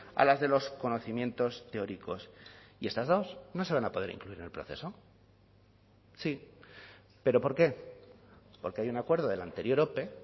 a las de los conocimientos teóricos y estas dos no se van a poder incluir en el proceso sí pero por qué porque hay un acuerdo de la anterior ope